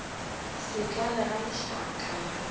se tlale ga lešaka la